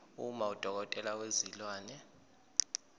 uma udokotela wezilwane